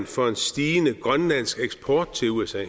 for en stigende grønlandsk eksport til usa